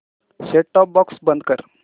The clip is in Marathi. सेट टॉप बॉक्स बंद कर